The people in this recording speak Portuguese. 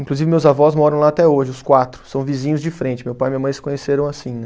Inclusive meus avós moram lá até hoje, os quatro, são vizinhos de frente, meu pai e minha mãe se conheceram assim, né?